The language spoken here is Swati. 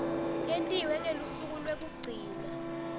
yentiwe ngelusuku lwekugcina